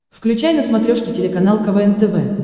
включай на смотрешке телеканал квн тв